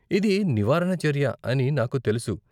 ఇది నివారణ చర్య అని నాకు తెలుసు.